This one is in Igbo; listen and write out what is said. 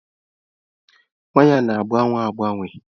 Waya na-agbanwe agbanwe.